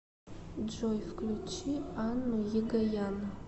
джой включи анну егоян